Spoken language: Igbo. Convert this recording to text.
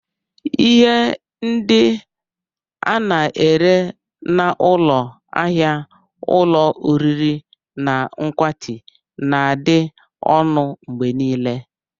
Ihe ndị a na-ere n'ụlọ ahịa ulo oriri na nkwati na-adị ọnụ mgbe niile.